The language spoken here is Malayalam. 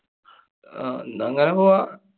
ആഹ് ന്നാ അങ്ങനെ പോവാം.